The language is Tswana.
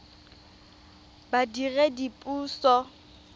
badiredipuso